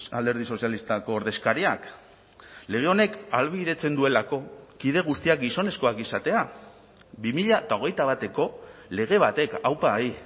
alderdi sozialistako ordezkariak lege honek ahalbidetzen duelako kide guztiak gizonezkoak izatea bi mila hogeita bateko lege batek aupa hi